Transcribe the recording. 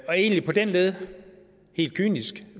egentlig på den led helt kynisk